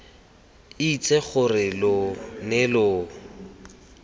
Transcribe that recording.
itse gore lo ne lo